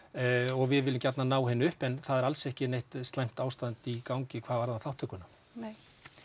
og við viljum gjarnan ná henni upp en það er alls ekki neitt slæmt ástand í gangi hvað varðar þátttökuna nei